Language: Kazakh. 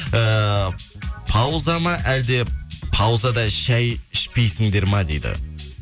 ііі пауза ма әлде паузада шай ішпейсіңдер ма дейді